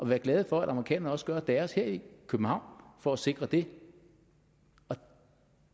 være glade for at amerikanerne også gør deres her i københavn for at sikre det